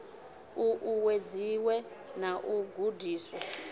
u uwedziwe na u gudiswa